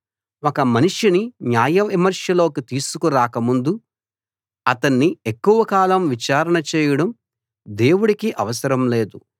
ఒక మనిషిని న్యాయవిమర్శలోకి తీసుకు రాక ముందు అతణ్ణి ఎక్కువ కాలం విచారణ చేయడం దేవుడికి అవసరం లేదు